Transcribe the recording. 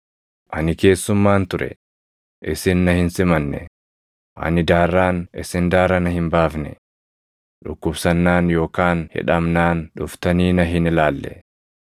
ani keessummaan ture; isin na hin simanne; ani daarraan isin daara na hin baafne; dhukkubsannaan yookaan hidhamnaan dhuftanii na hin ilaalle.’